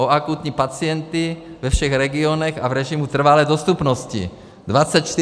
O akutní pacienty ve všech regionech a v režimu trvalé dostupnosti - 24 hodin, 7 dnů.